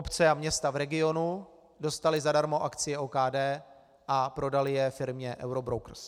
Obce a města v regionu dostaly zadarmo akcie OKD a prodaly je firmě Eurobrokers.